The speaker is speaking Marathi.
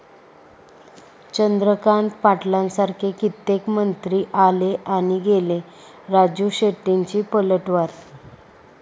चंद्रकांत पाटलांसारखे कित्येक मंत्री आले आणि गेले, राजू शेट्टींची पलटवार